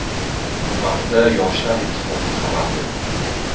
Bu haqda Yoshlar ittifoqi xabar berdi .